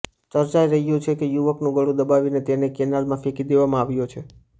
ચર્ચાઈ રહ્યું છે કે યુવકનું ગળું દબાવીને તેને કેનાલમાં ફેંકી દેવામાં આવ્યો છે